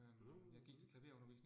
Mhm mhm